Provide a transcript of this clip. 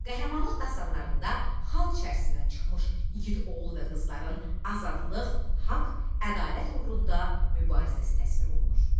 Qəhrəmanlıq dastanlarında xalq içərisindən çıxmış igid oğul və qızların azadlıq, haqq, ədalət uğrunda mübarizəsi təsvir olunur.